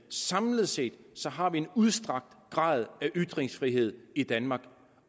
samlet set har en udstrakt grad af ytringsfrihed i danmark